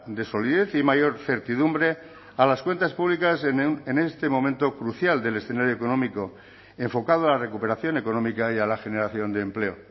de solidez y mayor certidumbre a las cuentas públicas en este momento crucial del escenario económico enfocado a la recuperación económica y a la generación de empleo